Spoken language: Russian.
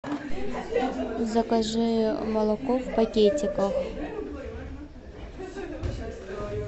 закажи молоко в пакетиках